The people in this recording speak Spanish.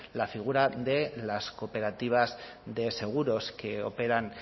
la figura de las cooperativas de seguros que operan